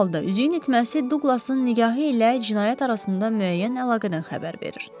Hər halda üzüyün itməsi Douglasın nigahı ilə cinayət arasında müəyyən əlaqədən xəbər verir.